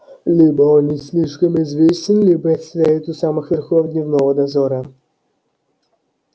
либо он не слишком известен либо стоит у самых верхов дневного дозора